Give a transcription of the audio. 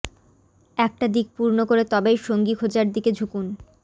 একটা দিক পূর্ণ করে তবেই সঙ্গী খোঁজার দিকে ঝুঁকুন